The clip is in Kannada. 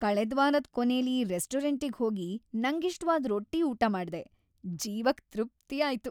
ಕಳೆದ್ವಾರದ್‌ ಕೊನೇಲಿ ರೆಸ್ಟೋರಂಟಿಗ್ ಹೋಗಿ ನಂಗಿಷ್ಟವಾದ್ ರೊಟ್ಟಿ ಊಟ ಮಾಡ್ದೆ, ಜೀವಕ್‌ ತೃಪ್ತಿಯಾಯ್ತು.